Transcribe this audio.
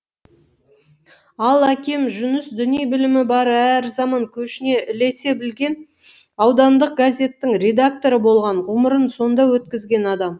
ал әкем жүніс діни білімі бар әрі заман көшіне ілесе білген аудандық газеттің редакторы болған ғұмырын сонда өткізген адам